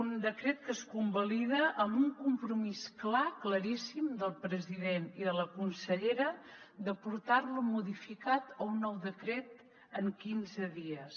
un decret que es convalida amb un compromís clar claríssim del president i de la consellera de portar lo modificat a un nou decret en quinze dies